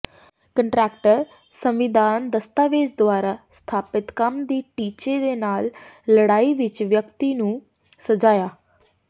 contract ਸੰਵਿਧਾਨ ਦਸਤਾਵੇਜ਼ ਦੁਆਰਾ ਸਥਾਪਿਤ ਕੰਮ ਦੇ ਟੀਚੇ ਦੇ ਨਾਲ ਲੜਾਈ ਵਿਚ ਵਿਅਕਤੀ ਨੂੰ ਸਜਾਇਆ